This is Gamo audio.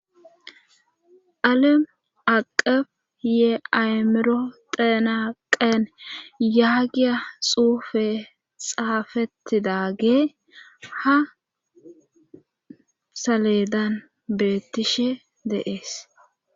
alemi aqefi ye ayimiro theena qeen yaagiya xuufe xaafettidage ha saleedanni betishe de7es